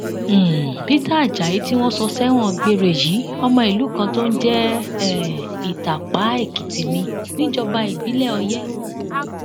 um peter ajayi tí wọn sọ sẹwọn gbére yìí ọmọ ìlú kan tó ń jẹ um ìtàpá èkìtì ni níjọba ìbílẹ ọyẹ